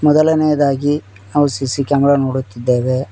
ಮೊದಲನೆಯದಾಗಿ ನಾವು CC camera ನೋಡುತ್ತಿದ್ದೇವೆ.